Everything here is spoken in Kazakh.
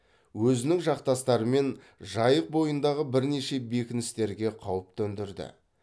өзінің жақтастарымен жайық бойындағы бірнеше бекіністерге қауіп төндірді